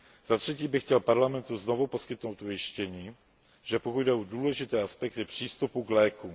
Za třetí bych chtěl Parlamentu znovu poskytnout ujištění, že pokud jde o důležité aspekty přístupu k lékům.